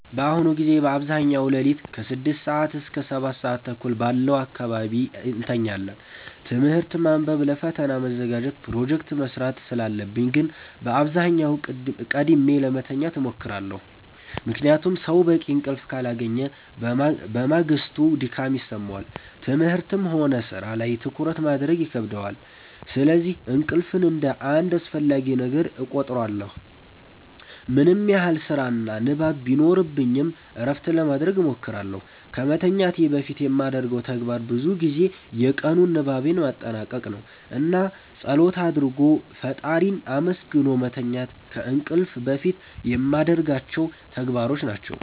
በአሁኑ ጊዜ በአብዛኛው ሌሊት ከ6 ሰዓት እስከ 7:30 ባለው አካባቢ እተኛለሁ። ትምህርት ማንበብ ለፈተና መዘጋጀት ፕሮጀክት መስራት ስላለብኝ ግን በአብዛኛው ቀድሜ ለመተኛት እሞክራለሁ። ምክንያቱም ሰው በቂ እንቅልፍ ካላገኘ በማግስቱ ድካም ይሰማዋል፣ ትምህርትም ሆነ ሥራ ላይ ትኩረት ማድረግ ይከብደዋል። ስለዚህ እንቅልፍን እንደ አንድ አስፈላጊ ነገር እቆጥረዋለሁ። ምንም ያህል ስራና ንባብ ቢኖርብኝ እረፍት ለማረግ እሞክራለሁ። ከመተኛቴ በፊት የማደርገው ተግባር ብዙ ጊዜ የቀኑን ንባቤን ማጠናቀቅ ነው። እና ፀሎት አርጎ ፈጣሪን አመስግኖ መተኛት ከእንቅልፍ በፊት የማረጋቸው ተግባሮች ናቸው።